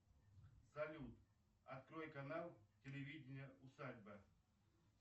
салют открой канал телевидения усадьба